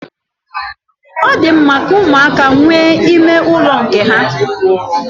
Ọ di mma ka ụmụaka nwee ime ụlọ nke ha.